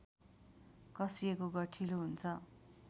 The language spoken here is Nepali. कसिएको गठिलो हुन्छ